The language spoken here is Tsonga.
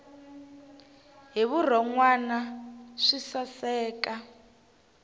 hi vurhon wana swi saseka